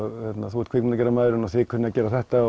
þú ert kvikmyndagerðarmaðurinn og þið kunnið að gera þetta